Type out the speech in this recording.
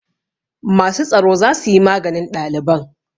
Masu tsaro za su yi maganin ɗaliban.